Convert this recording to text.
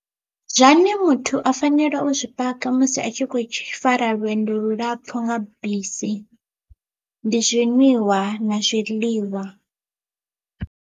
Zwane muthu a fanela u zwi paka musi a tshi kho fara lwendo lulapfhu nga bisi ndi zwinwiwa na zwiḽiwa.